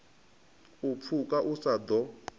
u pfuke u sa ḓo